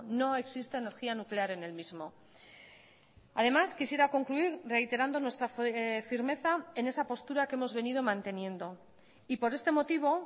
no existe energía nuclear en el mismo además quisiera concluir reiterando nuestra firmeza en esa postura que hemos venido manteniendo y por este motivo